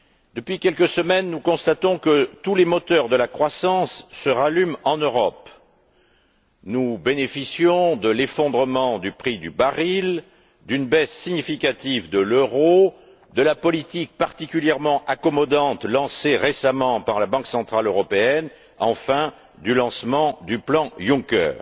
Depuis quelques semaines, nous constatons que tous les moteurs de la croissance repartent en Europe. Nous bénéficions de l'effondrement du prix du baril, d'une baisse significative de l'euro, de la politique particulièrement accommodante lancée récemment par la Banque centrale européenne et, enfin, du lancement du plan Juncker.